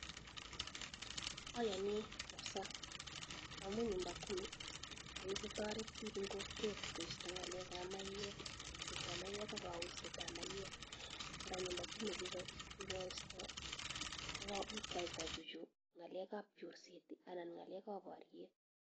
Oyoni kabisaa amun nyumba kumi ko kikotoret biik en kokwet koisto ngalekab maiyek yeisetab maiwek ak koyoisetab maiyek, araa nyumba kumi kokikosto kikoyai kochuchuch ngalekab chorset anan ngalekab boriet.